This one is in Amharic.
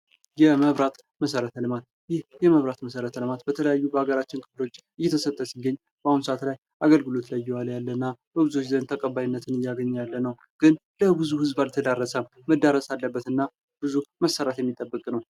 የመብራት መሠረተ ልማት ፦ ይህ የመብራት መሠረተ ልማት በተለያዩ የሀገራችን ክፍሎች እየተሰጠ ሲገኝ በአሁኑ ሰአት አገልግሎት ላይ እየዋለ ያለ እና በብዙዎች ዘንድ ተቀባይነት እያገኘ ያለ ነው። ግን ለብዙ ህዝብ አልተዳረሰም። መዳረስ አለበትና ብዙ መሠራት የሚጠበቅበት ነው።